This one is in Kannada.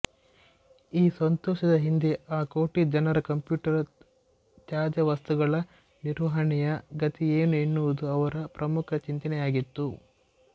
ಈ ಸಂತೋಷದ ಹಿಂದೆ ಆ ಕೋಟಿಜನರ ಕಂಪ್ಯೂಟರ್ ತ್ಯಾಜ್ಯವಸ್ತುಗಳ ನಿರ್ವಹಣೆಯ ಗತಿಏನು ಎನ್ನುವುದು ಅವರ ಪ್ರಮುಖ ಚಿಂತನೆಯಾಗಿತ್ತು